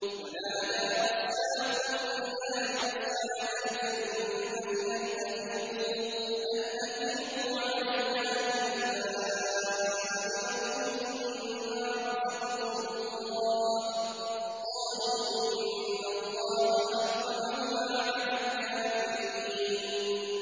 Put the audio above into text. وَنَادَىٰ أَصْحَابُ النَّارِ أَصْحَابَ الْجَنَّةِ أَنْ أَفِيضُوا عَلَيْنَا مِنَ الْمَاءِ أَوْ مِمَّا رَزَقَكُمُ اللَّهُ ۚ قَالُوا إِنَّ اللَّهَ حَرَّمَهُمَا عَلَى الْكَافِرِينَ